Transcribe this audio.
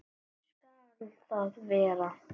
Gosi skal það vera.